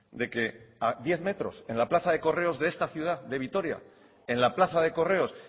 de que a diez metros en la plaza de correos de esta ciudad de vitoria en la plaza de correos